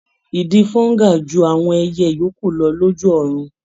Idì ń fò ga ju àwọn ẹyẹ yòókù lọ ní ojú ọ̀run.